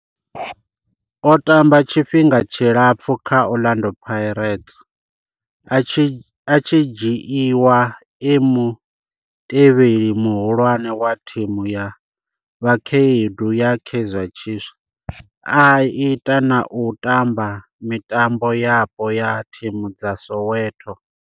O tamba tshifhinga tshilapfhu kha Orlando Pirates, a tshi dzhiiwa e mutevheli muhulwane wa thimu ya vhakhaedu ya Kaizer Chiefs, a ita na u tamba kha mitambo yapo ya thimu dza Soweto.